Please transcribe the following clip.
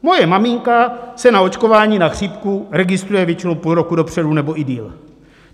Moje maminka se na očkování na chřipku registruje většinou půl roku dopředu nebo i déle.